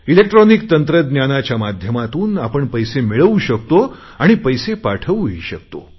electronic तंत्रज्ञानाच्या माध्यमातून आपण पैसे मिळवू शकतो आणि पैसे पाठवूही शकतो